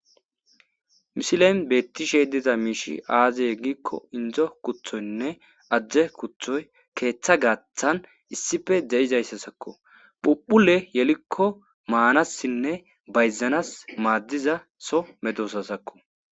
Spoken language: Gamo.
misilen beettishe diza miishi aaziye giikko indzo kuthoynne ajje kuthoy keeththa gaathan issife de7izayssa sakko phuphule yelikko maanassinne bayzanas maaddiza so medosa sakko